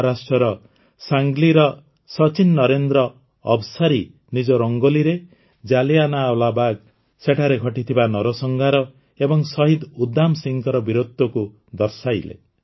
ମହାରାଷ୍ଟ୍ରର ସାଙ୍ଗ୍ଲିର ସଚିନ୍ ନରେନ୍ଦ୍ର ଅବସାରୀ ନିଜ ରଙ୍ଗୋଲିରେ ଜାଲିଆନାୱାଲାବାଗ୍ ସେଠାରେ ଘଟିଥିବା ନରସଂହାର ଏବଂ ଶହିଦ ଉଧମ୍ ସିଂହଙ୍କ ବୀରତ୍ୱକୁ ଦର୍ଶାଇଲେ